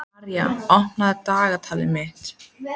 Og eitt sagði hún mér sem ég vissi ekki sjálfur.